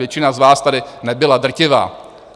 Většina z vás tady nebyla, drtivá.